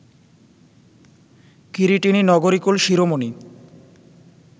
কিরীটিনী নগরীকুল শিরোমণি